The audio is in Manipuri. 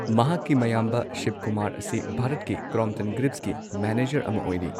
ꯃꯍꯥꯛꯀꯤ ꯃꯌꯥꯝꯕ ꯁꯤꯚꯀꯨꯃꯥꯔ ꯑꯁꯤ ꯚꯥꯔꯠꯀꯤ ꯀ꯭ꯔꯣꯝꯞꯇꯟ ꯒ꯭ꯔꯤꯚꯁꯀꯤ ꯃꯦꯅꯦꯖꯔ ꯑꯃ ꯑꯣꯏꯔꯤ꯫